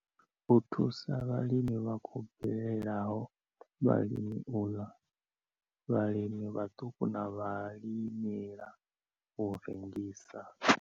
U thusa vhalimi vha khou bvelelaho, vhalimela u ḽa, vhalimi vhaṱuku na vhalimela u rengisa.